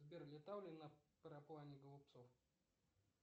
сбер летал ли на параплане голубцов